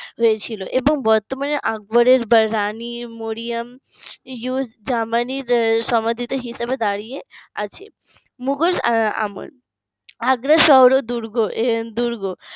হয়েছিল এবং বর্তমানে আকবরের রানী মরিয়ম ইউথ জামানির সমাধি হিসাবে দাঁড়িয়ে আছে মুঘল আমল আগ্রা শহর ও দুর্গ